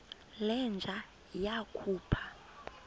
le nja yakhupha